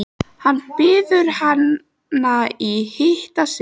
Hann biður hana að hitta sig.